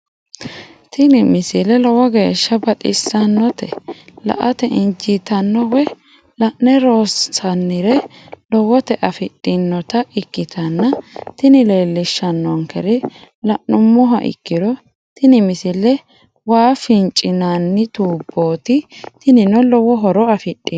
tini misile lowo geeshsha baxissannote la"ate injiitanno woy la'ne ronsannire lowote afidhinota ikkitanna tini leellishshannonkeri la'nummoha ikkiro tini misile waa fincinanni tuubbooti tinino lowo horo afidhino.